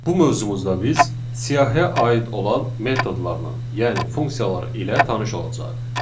Bu mövzumuzda biz siyahıya aid olan metodlarla, yəni funksiyalar ilə tanış olacağıq.